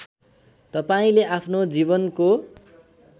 तपाईँले आफ्नो जीवनको